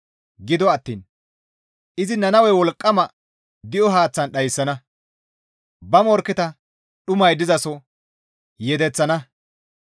Gido attiin izi Nannawe wolqqama di7o haaththan dhayssana; ba morkketa dhumay dizaso yedeththana.